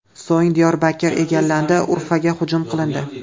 So‘ng Diyorbakr egallandi, Urfaga hujum qilindi.